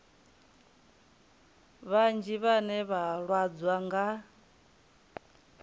vhanzhi vhane vha lwadzwa nga